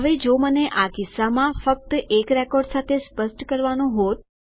હવે જો મને આ કિસ્સામાં ફક્ત એક રેકોર્ડ સાથે સ્પષ્ટ કરવાનું હોત